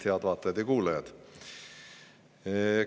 Head vaatajad ja kuulajad!